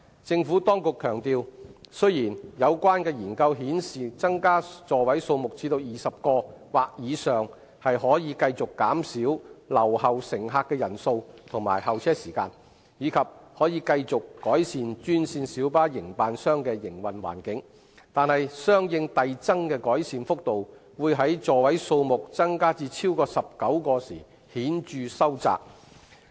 政府當局強調，雖然有關研究顯示增加座位數目至20個或以上可繼續減少留後乘客的人數和候車時間，以及可繼續改善專線小巴營辦商的營運環境，但相應遞增的改善幅度會在座位數目增加至超過19個時顯著收窄。